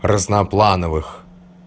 разноплановых